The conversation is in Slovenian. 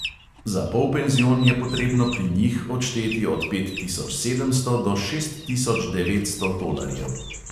Za polpenzion je potrebno pri njih odšteti od pet tisoč sedemsto do šest tisoč devetsto tolarjev.